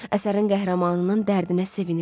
Əsərin qəhrəmanının dərdinə sevinirdi.